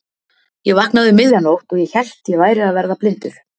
Ég vaknaði um miðja nótt og ég hélt að ég væri að verða blindur.